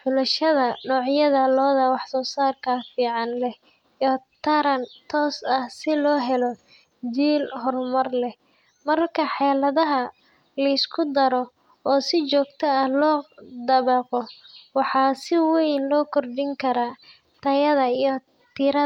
xulashada noocyada lo’da wax-soo-saarka fiican leh iyo taran toos ah si loo helo jiil horumar leh. Marka xeeladahaan la isku daro oo si joogto ah loo dabaqo, waxaa si weyn loo kordhin karaa tayada iyo tirada.